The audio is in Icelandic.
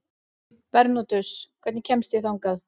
Bernódus, hvernig kemst ég þangað?